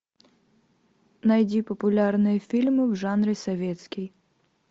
найди популярные фильмы в жанре советский